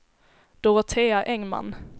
Dorotea Engman